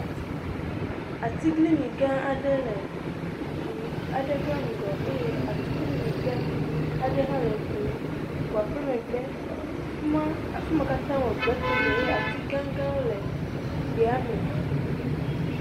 Atiglinyi gã aɖe le eŋu ɖe ƒe ŋgɔ eye atiglinyi hã aɖe hã le eŋua ƒe megbe eye efima, afima kata wɔ gbe tome eye ati gãgãwo le egbea me.